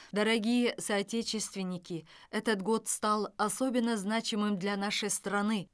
дорогие соотечественники этот год стал особенно значимым для нашей страны